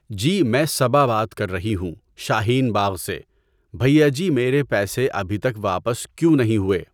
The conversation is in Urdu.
جی میں صبا بات کر رہی ہوں شاہین باغ سے، بھیا جی میرے پیسے ابھی تک واپس کیوں نہیں ہوئے؟